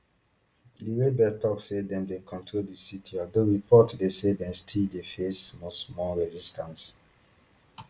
di rebels tok say dem dey control di city although reports dey say dem still dey face smallsmall resistance